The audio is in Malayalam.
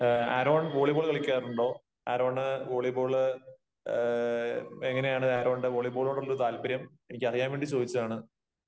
ആരോൺ വോളിബോള് കളിക്കാറുണ്ടോ? ആരോണ് വോളിബോൾ, എങ്ങനെയാണ് ആരോണിന്റെ വോളീബോളിനോടുള്ള താല്പര്യം? എനിക്കറിയാൻ വേണ്ടി ചോദിച്ചതാണ്.